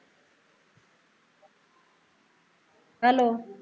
hello